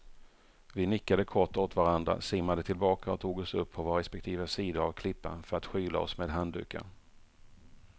Vi nickade kort åt varandra, simmade tillbaka och tog oss upp på våra respektive sidor av klippan för att skyla oss med handdukar.